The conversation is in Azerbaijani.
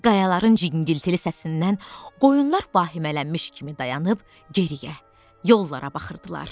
Qayaların cingiltili səsindən qoyunlar vahimələmiş kimi dayanıb geriyə yollara baxırdılar.